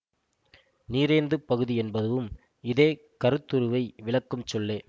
நீரேந்து பகுதி என்பதுவும் இதே கருத்துருவை விளக்கும் சொல்லே